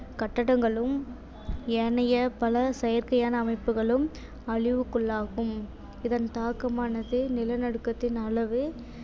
கட்டடங்களும் ஏனைய பல செயற்கையான அமைப்புகளும் அழிவுக்குள்ளாகும் இதன் தாக்கமானது நிலநடுக்கத்தின் அளவு